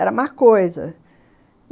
Era a má coisa.